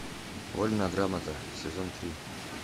вольная грамота сезон три